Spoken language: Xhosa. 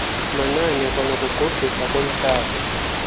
manani kwanokugqugqisa komhlaza